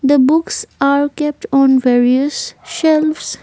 the books are kept on various shelves.